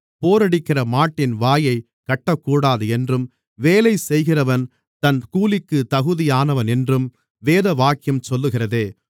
போரடிக்கிற மாட்டின் வாயைக் கட்டக்கூடாது என்றும் வேலைசெய்கிறவன் தன் கூலிக்குத் தகுதியானவன் என்றும் வேதவாக்கியம் சொல்லுகிறதே